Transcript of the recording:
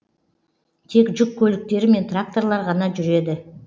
тек жүк көліктері мен тракторлар ғана жүреді